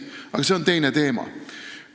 Aga see on teine teema.